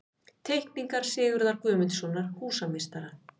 Teikningar Sigurðar Guðmundssonar, húsameistara.